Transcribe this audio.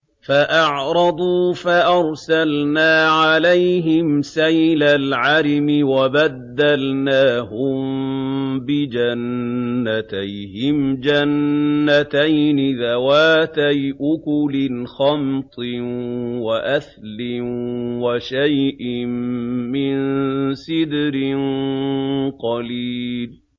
فَأَعْرَضُوا فَأَرْسَلْنَا عَلَيْهِمْ سَيْلَ الْعَرِمِ وَبَدَّلْنَاهُم بِجَنَّتَيْهِمْ جَنَّتَيْنِ ذَوَاتَيْ أُكُلٍ خَمْطٍ وَأَثْلٍ وَشَيْءٍ مِّن سِدْرٍ قَلِيلٍ